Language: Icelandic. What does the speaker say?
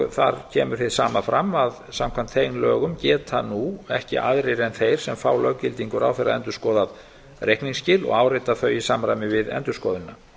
þar kemur hið sama fram að samkvæmt þeim lögum geta nú ekki aðrir en þeir sem fá löggildingu ráðherra endurskoðað reikningsskil og áritað þau í samræmi við endurskoðunina